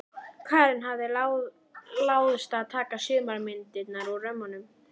Karen hafði láðst að taka sumar myndirnar úr römmunum.